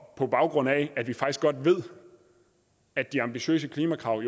på baggrund af at vi faktisk godt ved at de ambitiøse klimakrav